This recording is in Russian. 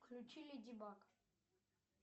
включи леди баг